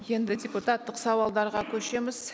енді депутаттық сауалдарға көшеміз